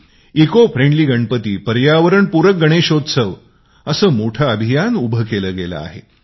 eco friendly Ganpati असे मोठे अभियान उभे केले आहे